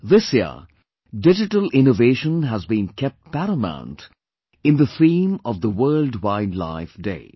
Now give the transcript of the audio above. This year, Digital Innovation has been kept paramount in the theme of the World Wild Life Day